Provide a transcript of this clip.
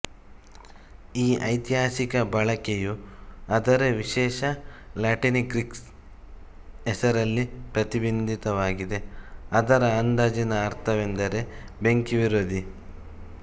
ಈ ಐತಿಹಾಸಿಕ ಬಳಕೆಯು ಅದರ ವಿಶೇಷ ಲ್ಯಾಟಿನ್ಗ್ರೀಕ್ ಹೆಸರಿನಲ್ಲಿ ಪ್ರತಿಬಿಂಬಿತವಾಗಿದೆ ಅದರ ಅಂದಾಜಿನ ಅರ್ಥವೆಂದರೆ ಬೆಂಕಿ ವಿರೋಧಿ